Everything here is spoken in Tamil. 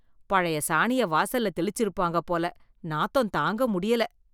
பழைய சாணிய வாசல்ல தெளிச்சி இருப்பாங்க போல, நாத்தம் தாங்க முடியல.